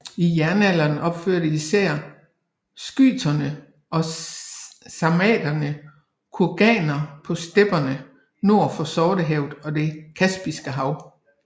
I jernalderen opførte især skyterne og sarmaterne kurganer på stepperne nord for Sortehavet og det Kaspiske hav